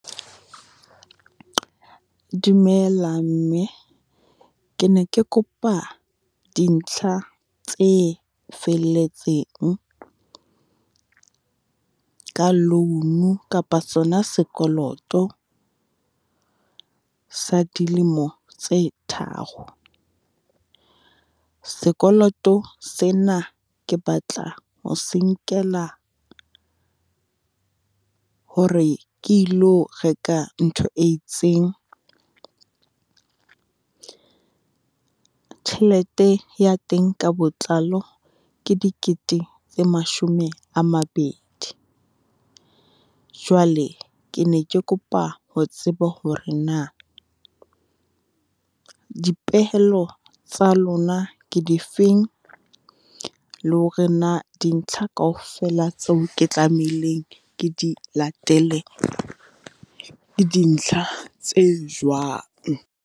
Dumela mme, ke ne ke kopa dintlha tse felletseng ka loan kapa sona sekoloto sa dilemo tse tharo? Sekoloto sena ke batla ho se nkela hore ke ilo reka ntho e itseng. Tjhelete ya teng ka botlalo ke dikete tse mashome a mabedi. Jwale ke ne ke kopa ho tseba hore na dipehelo tsa lona ke difeng, le hore na dintlha kaofela tseo ke tlamehileng ke di latele ke dintlha tse jwang?